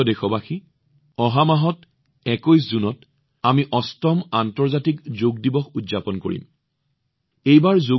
মোৰ মৰমৰ দেশবাসীসকল অহা মাহত ২১ জুনত আমি অষ্টম আন্তঃৰাষ্ট্ৰীয় যোগ দিৱস উদযাপন কৰিবলৈ গৈ আছো